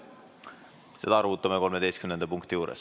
Seda arutame 13. punkti juures.